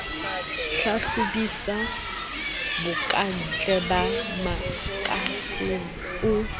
hlahlobisisa bokantle ba makasine o